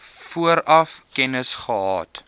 vooraf kennis gehad